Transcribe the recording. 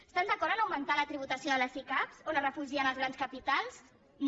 estan d’acord a augmentar la tributació de les sicav on es refugien els grans capitals no